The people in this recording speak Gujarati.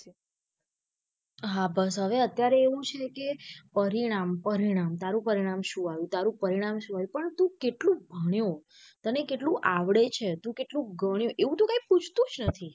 હા બસ અત્યારે એવું છે કે પરિણામ પરિણામ તારું પરિણામ શું આવ્યું તારું પરિણામ શું આવ્યું પણ તું કેટલું ભણ્યો તને કેટલું આવડે છે તું કેટલું ગણ્યું એવું તો કઈ પૂછતું જ નથી.